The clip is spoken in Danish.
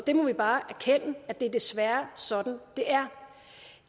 vi må bare erkende at det desværre er sådan det er